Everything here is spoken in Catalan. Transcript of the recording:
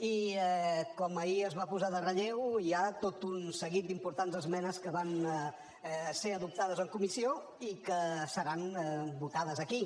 i com ahir es va posar de relleu hi ha tot un seguit d’importants esmenes que van ser adoptades en comissió i que seran votades aquí